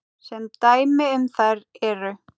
Sem dæmi um þær eru